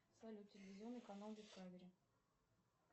салют телевизионный канал дискавери